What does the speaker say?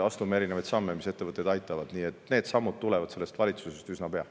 Nii et me astume samme, mis ettevõtteid aitavad, ja need sammud tulevad sellest valitsusest üsna pea.